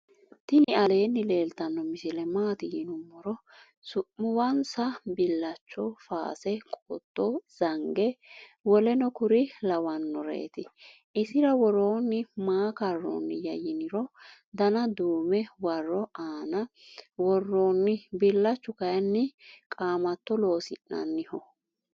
tini allani leeltano misile. maati yiinumoro. su'muwansa. bilacho. faase. qooto. zange w.k.l lawanoreti. isira woeonni maa karoniya yiinniro danna dume waro aana woeonni. bilachu kayini qamatto loosi'nanniho.